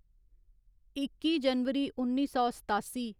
इक्की जनवरी उन्नी सौ सतासी